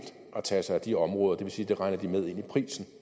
at tage sig af de områder det vil sige at de regner det med ind i prisen